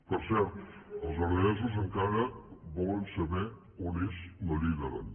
per cert els aranesos encara volen saber on és la llei d’aran